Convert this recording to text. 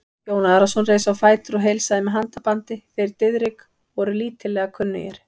Jón Arason reis á fætur og heilsaði með handabandi, þeir Diðrik voru lítillega kunnugir.